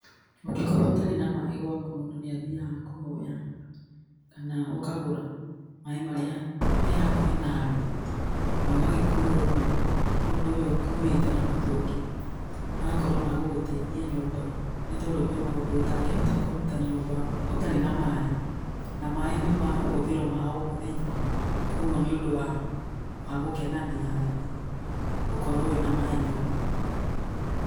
Ũngĩkorwo ũtarĩ na maĩ gwaku mũndũ nĩ athiaga kũhoya, kana ũkagũra maĩ marĩa me hakuhĩ nawe, na ũgagĩkua ũguo mũndũ ũyũ akuite na mũtũngi. Magakorwo ma gũgũteithia nyumba, nĩ tondũ kwĩ maũndũ mũndũ atangĩhota kũruta nyũmba ũtarĩ na maĩ. Na maĩ nĩ mahũthĩro ma o mũthenya. Kuoguo nĩ ũndũ wa gũkenania harĩ niĩ, gukorwo wĩna maĩ nyũmba.